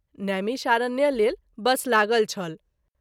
नैमिषारण्य लेल बस लागल छल।